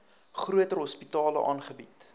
groter hospitale aangebied